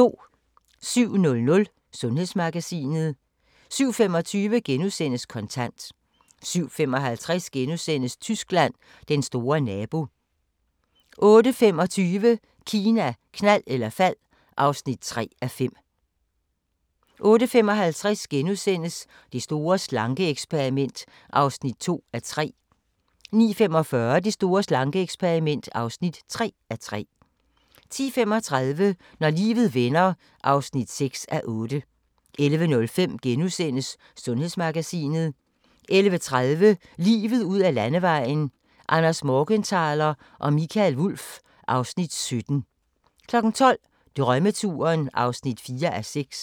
07:00: Sundhedsmagasinet 07:25: Kontant * 07:55: Tyskland: Den store nabo * 08:25: Kina, knald eller fald (3:5) 08:55: Det store slanke-eksperiment (2:3)* 09:45: Det store slanke-eksperiment (3:3) 10:35: Når livet vender (6:8) 11:05: Sundhedsmagasinet * 11:30: Livet ud ad Landevejen: Anders Morgenthaler og Mikael Wulff (Afs. 17) 12:00: Drømmeturen (4:6)